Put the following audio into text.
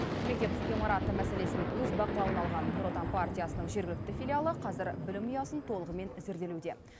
мектеп ғимараты мәселесін өз бақылауына алған нұр отан партиясының жергілікті филиалы қазір білім ұясын толығымен зерделеуде